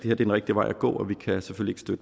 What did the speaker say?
er den rigtige vej at gå og vi kan selvfølgelig